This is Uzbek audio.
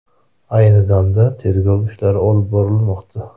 Ayni damda tergov ishlari olib borilmoqda.